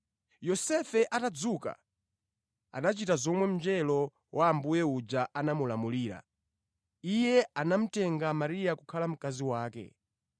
Yosefe atadzuka, anachita zomwe mngelo wa Ambuye uja anamulamulira. Iye anamutenga Mariya kukhala mkazi wake.